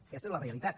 aquesta és la realitat